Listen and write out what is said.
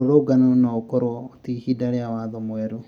Mũrũrũngano oukorwo ti hĩndi ya watho mwerũ